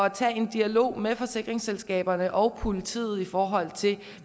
at tage en dialog med forsikringsselskaberne og politiet i forhold til